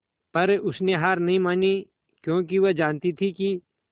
पर उसने हार नहीं मानी क्योंकि वह जानती थी कि